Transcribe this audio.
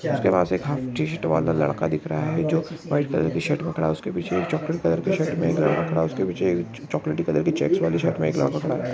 उसके T shirt वाला लडका दिख रहा है जो व्हाइट कलर की शर्ट में खड़ा है उसके पीछे चॉकलेट कलर की शर्ट में एक लडका खडा है उसके पीछे चॉकलेटी कलर के चेक्स वाली शर्ट में एक लडका खडा है।